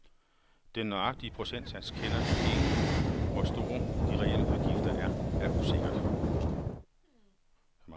Den nøjagtige procentsats kender ingenHvor store de reelle udgifter er, er usikkert.